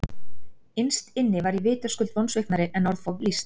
Innst inni var ég vitaskuld vonsviknari en orð fá lýst.